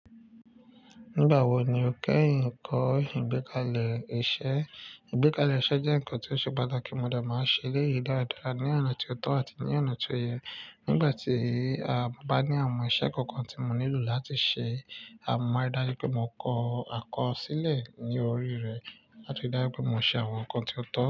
Nígbà wo ni o kẹ́yìn ń kọ́ ìgbékalẹ̀ iṣẹ́? Ìgbékalẹ̀ iṣẹ́ jẹ́ ǹkan tí ó ṣe pàtàkì mọ̀ dé màá ṣe léyìí dáradára ní ọ̀nà tí ó tọ́ àti ní ọ̀nà tí ó yẹ. Nígbà tí, mo bá ní àwọn iṣẹ́ kankan tí mo nílò láti ṣe, mo máa rí dájú pé mo kọ àkọsílẹ̀ ní orí rẹ̀, àti rí dájú pé mo ṣe àwọn ǹkan tí ó tọ́.